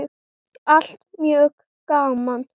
Allt mjög gaman.